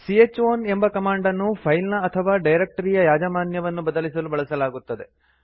c ಹ್ ಔನ್ ಎಂಬ ಕಮಾಂಡ್ ಅನ್ನು ಫೈಲ್ ನ ಅಥವಾ ಡೈರಕ್ಟರಿಯ ಯಾಜಮಾನ್ಯವನ್ನು ಬದಲಿಸಲು ಬಳಸಲಾಗುತ್ತದೆ